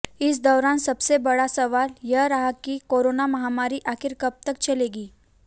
इस दौरान सबसे बड़ा सवाल यह रहा कि कोरोना महामारी आखिर कब तक चलेगी